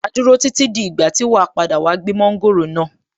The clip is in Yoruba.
Màá dúró títí dí ìgbà tí wàá padà wá gbé mọ́ńgòrò náà.